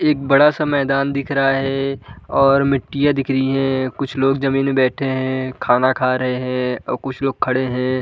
एक बड़ा-सा मैदान दिख रहा है और मिट्टियाँ दिख रही है। कुछ लोग जमीन में बैठे हैं खाना खा रहे हैं और कुछ लोग खड़े हैं।